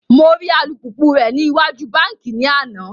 Mo ri alupupu rẹ ni iwaju banki ni ana